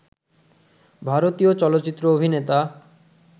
ভারতীয় চলচিত্র অভিনেতা